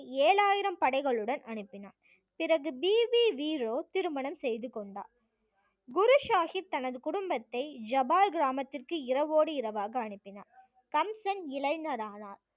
ஏழாயிரம் படைகளுடன் அனுப்பினான் பிறகு பிபி வீரோ திருமணம் செய்து கொண்டார் குரு சாஹிப் தனது குடும்பத்தை ஜபால் கிராமத்திற்கு இரவோடு இரவாக அனுப்பினார் கம்சன் இளைஞரானார்